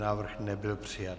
Návrh nebyl přijat.